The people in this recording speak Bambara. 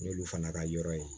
N'olu fana ka yɔrɔ ye